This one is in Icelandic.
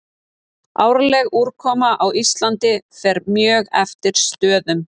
Árleg úrkoma á Íslandi fer mjög eftir stöðum.